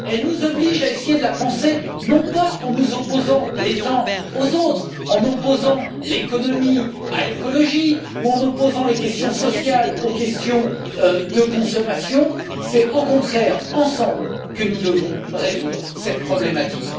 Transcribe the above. Cela nous oblige à essayer de la penser non pas en nous opposant les uns aux autres, en opposant l'économie à l'écologie ou en opposant les questions sociales aux questions de consommation, mais c'est au contraire ensemble que nous devons résoudre cette problématique.